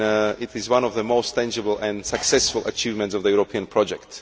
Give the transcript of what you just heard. It is one of the most tangible and successful achievements of the European project.